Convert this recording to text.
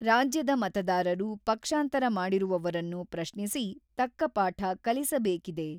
ರಾಜ್ಯದ ಮತದಾರರು ಪಕ್ಷಾಂತರ ಮಾಡಿರುವವರನ್ನು ಪ್ರಶ್ನಿಸಿ, ತಕ್ಕ ಪಾಠ ಕಲಿಸಬೇಕಿದೆ.